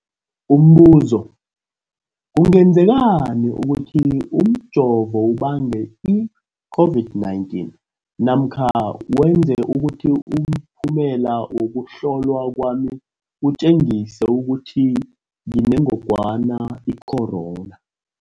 Umbuzo, kungenzekana ukuthi umjovo ubange i-COVID-19 namkha wenze ukuthi umphumela wokuhlolwa kwami utjengise ukuthi nginengogwana i-corona?